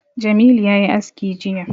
Jamilu ya yi aski jiya